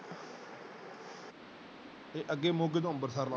ਤੇ ਅੱਗੇ ਮੋਗੇ ਤੋਂ ਅੰਬਰਸਰ ਲਾਲੋ।